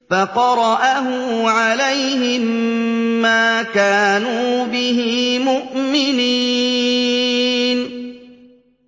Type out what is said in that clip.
فَقَرَأَهُ عَلَيْهِم مَّا كَانُوا بِهِ مُؤْمِنِينَ